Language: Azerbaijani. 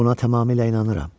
Buna tamamilə inanıram.